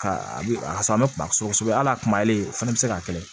Ka a bisaa an bɛ kuma kosɛbɛ kosɛbɛ hali a kumale o fana bɛ se ka kɛlɛ